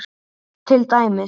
Til dæmis.